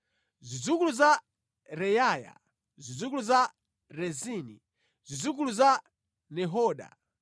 Zidzukulu za Reyaya, zidzukulu za Rezini, zidzukulu za Nehoda,